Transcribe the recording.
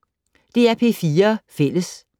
DR P4 Fælles